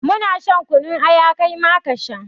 Mu na shan kunun aya, kai ma ka sha.